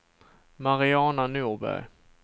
Mariana Norberg